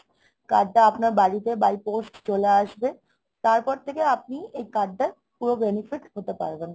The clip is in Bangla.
card টা আপনার বাড়িতে by post চলে আসবে। তারপর থেকে আপনি এই card টার পুরো benefit হতে পারবেন।